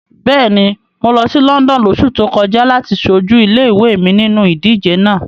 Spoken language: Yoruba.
Bẹ́ẹ̀ni, mo lọ sí London lóṣù tó kọjá láti ṣojú ilé-ìwé mi nínu ìdíje náà.